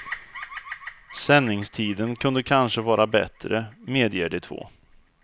Sändningstiden kunde kanske vara bättre, medger de två.